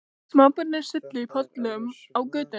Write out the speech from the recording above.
Smábörnin sulluðu í pollum á götunni.